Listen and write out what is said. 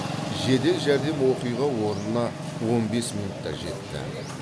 жедел жәрдем оқиға орнына он бес минутта жетті